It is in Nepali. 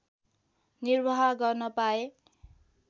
निर्वाह गर्न पाएँ